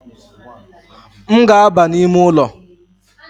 M ga-aba n’ime ụlọ